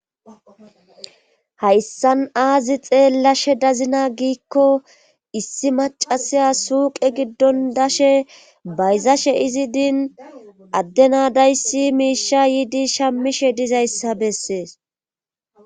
hayssan aazi xeellashe dazina giikko issi macasiya suuqe giddon dashe bayzashe izi diin addena dayssi miisha yiidi shammishe dizayssa bessees